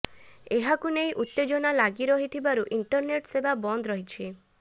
ଏହାକୁ ନେଇ ଉତ୍ତେଜନା ଲାଗି ରହିଥିବାରୁ ଇଣ୍ଟରନେଟ୍ ସେବା ବନ୍ଦ ରହିଛି